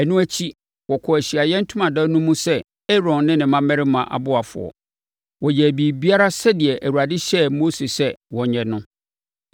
Ɛno akyi, wɔkɔɔ Ahyiaeɛ Ntomadan no mu sɛ Aaron ne ne mmammarima aboafoɔ. Wɔyɛɛ biribiara sɛdeɛ Awurade hyɛɛ Mose sɛ wɔnyɛ no.